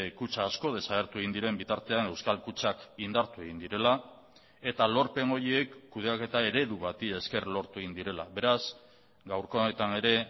kutxa asko desagertu egin diren bitartean euskal kutxak indartu egin direla eta lorpen horiek kudeaketa eredu bati esker lortu egin direla beraz gaurko honetan ere